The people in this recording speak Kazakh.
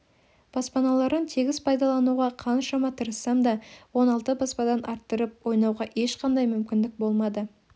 баспаларын тегіс пайдалануға қаншама тырыссам да он алты баспадан арттырып ойнауға ешқандай мүмкіндік болмады